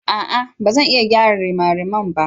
A'a! Ba zan iya gyara rimariman ba.